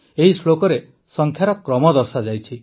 ଏହି ଶ୍ଳୋକରେ ସଂଖ୍ୟାର କ୍ରମ ଦର୍ଶାଯାଇଛି